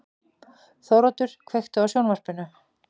Þóroddur, kveiktu á sjónvarpinu.